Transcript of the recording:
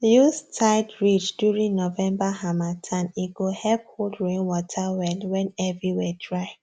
use tied ridge during november harmattan go help hold rain water well when everywhere dry